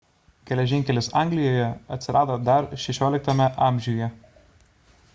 geležinkelis anglijoje atsirado dar 16 amžiuje